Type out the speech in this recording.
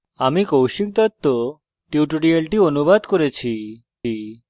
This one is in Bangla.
আমি কৌশিক দত্ত টিউটোরিয়ালটি অনুবাদ করেছি